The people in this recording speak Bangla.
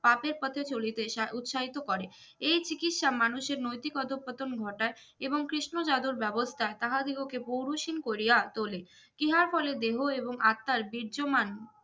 পাপের পথে চলি পেশা উৎসাহিত করে এই চিকিৎসা মানুষের নৈতিক অধঃপতন ঘটায় এবং কৃষ্ণজাদোর ব্যবস্থায় তাহাদিগকে পৌরুষ হীন করিয়া তোলে ইহার ফলে দেহ এবং আত্মার বির্জমান